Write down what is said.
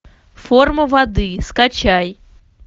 форма воды скачай